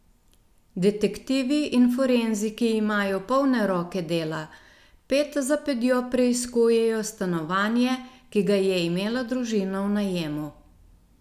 Detektivi in forenziki imajo polne roke dela, ped za pedjo preiskujejo stanovanje, ki ga je imela družina v najemu.